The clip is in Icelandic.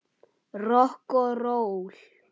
Rokk og ról.